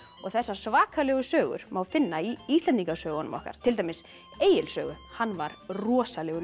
þessar svakalegu sögur má finna í Íslendingasögunum okkar til dæmis Egils sögu hann var rosalegur